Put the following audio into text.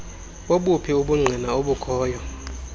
bobuphi ubungqina obukhoyo